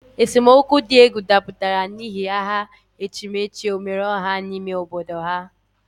Esemokwu di egwu daputara n'ihi aha echimechi omereoha n'ime obodo ha.